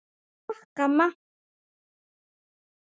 Takk amma.